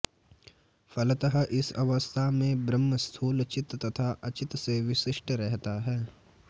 फलतः इस अवस्था में ब्रह्म स्थूल चित् तथा अचित् से विशिष्ट रहता है